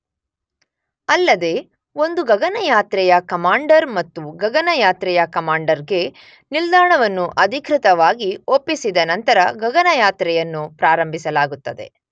ಅಲ್ಲದೇ ಒಂದು ಗಗನಯಾತ್ರೆಯ ಕಮಾಂಡರ್ ಮತ್ತೊಂದು ಗಗನಯಾತ್ರೆಯ ಕಮಾಂಡರ್ ಗೆ ನಿಲ್ದಾಣವನ್ನು ಅಧಿಕೃತವಾಗಿ ಒಪ್ಪಿಸಿದ ನಂತರ ಗಗನಯಾತ್ರೆಯನ್ನು ಪ್ರಾರಂಭಿಸಲಾಗುತ್ತದೆ.